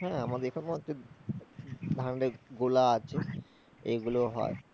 হ্যাঁ আমাদের এখানেও হচ্ছে ধানের গোলা আছে, এগুলো হয়